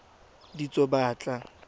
ditsobotla